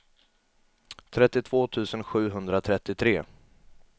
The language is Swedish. trettiotvå tusen sjuhundratrettiotre